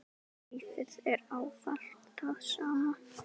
Lífið er ávallt það sama.